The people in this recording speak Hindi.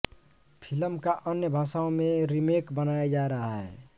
फिल्म का अन्य भाषाओं में रीमेक बनाया जा रहा है